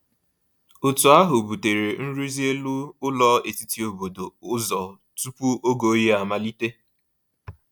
Otu ahụ butere nrụzi elu ụlọ etiti obodo ụzọ tupu oge oyi amalite.